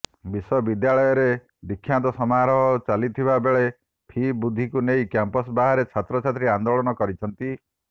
ବିଶ୍ୱବିଦ୍ୟାଳୟରେ ଦୀକ୍ଷାନ୍ତ ସମାରୋହ ଚାଲିଥିବା ବେଳେ ଫି ବୃଦ୍ଧିକୁ ନେଇ କ୍ୟାମ୍ପସ ବାହାରେ ଛାତ୍ରଛାତ୍ରୀ ଆନ୍ଦୋଳନ କରିଛନ୍ତି